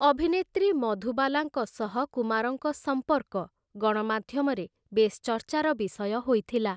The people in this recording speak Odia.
ଅଭିନେତ୍ରୀ ମଧୁବାଲାଙ୍କ ସହ କୁମାରଙ୍କ ସମ୍ପର୍କ ଗଣମାଧ୍ୟମରେ ବେଶ୍ ଚର୍ଚ୍ଚାର ବିଷୟ ହୋଇଥିଲା ।